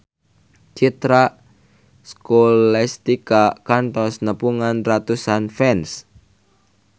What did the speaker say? Citra Scholastika kantos nepungan ratusan fans